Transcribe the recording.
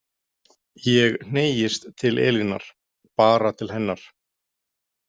Ég hneigist til Elínar, bara til hennar.